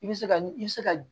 I bɛ se ka i bɛ se ka